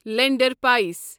lander پٲسۍ